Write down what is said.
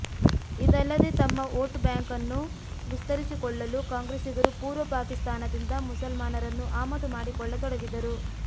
ಇದಲ್ಲದೇ ತಮ್ಮ ಓಟು ಬ್ಯಾಂಕನ್ನು ವಿಸ್ತರಿಸಿಕೊಳ್ಳಲು ಕಾಂಗ್ರೆಸ್ಸಿಗರು ಪೂರ್ವ ಪಾಕಿಸ್ತಾನದಿಂದ ಮುಸಲ್ಮಾನರನ್ನು ಆಮದು ಮಾಡಿಕೊಳ್ಳತೊಡಗಿದರು